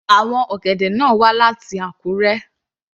Àwọn ọ̀gẹ̀dẹ̀ náà wá láti Akure.